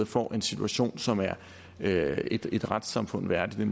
få en situation som er et et retssamfund værdigt